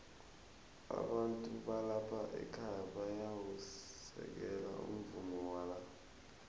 abantu balapha ekhaya bayawusekela umvumo wala